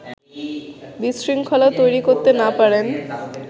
বিশৃঙ্খলা তৈরি করতে না-পারেন